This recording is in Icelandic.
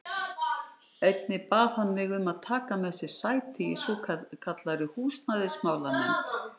Einnig bað hann mig um að taka með sér sæti í svokallaðri húsnæðismála- nefnd.